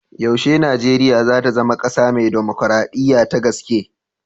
Yaushe Nijeriya za ta zama ƙasa mai dimukraɗiya ta gaske?